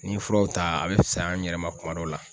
N'i ye furaw ta a bɛ fisaya an yɛrɛ ma kuma dɔw la.